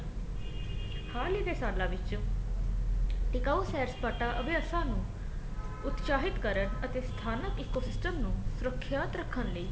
ਹਾਲ ਈ ਦੇ ਸਾਲਾ ਵਿੱਚ ਟਿਕਾਉ ਸੈਰ ਸਪਾਟਾ ਅਭਿਆਸਾ ਨੂੰ ਉਤਸਾਹਿਤ ਕਰਨ ਅਤੇ ਸਥਾਨਕ ਇੱਕੋ system ਨੂੰ ਸੁਰਖਿਅਤ ਰੱਖਣ ਲਈ